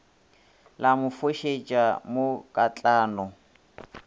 la mo fošetša mo katlano